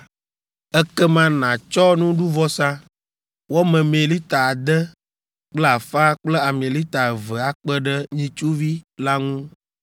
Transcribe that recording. ekema nàtsɔ nuɖuvɔsa, wɔ memee lita ade kple afã kple ami lita eve akpe ɖe nyitsuvi la ŋu.